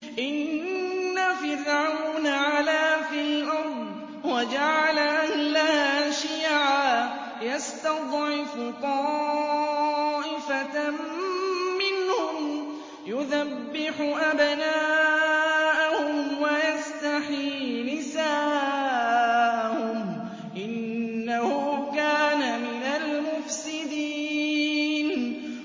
إِنَّ فِرْعَوْنَ عَلَا فِي الْأَرْضِ وَجَعَلَ أَهْلَهَا شِيَعًا يَسْتَضْعِفُ طَائِفَةً مِّنْهُمْ يُذَبِّحُ أَبْنَاءَهُمْ وَيَسْتَحْيِي نِسَاءَهُمْ ۚ إِنَّهُ كَانَ مِنَ الْمُفْسِدِينَ